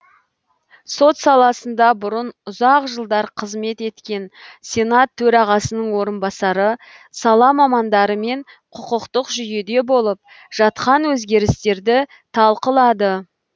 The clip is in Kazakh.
сот саласында бұрын ұзақ жылдар қызмет еткен сенат төрағасының орынбасары сала мамандарымен құқықтық жүйеде болып жатқан өзгерістерді талқылады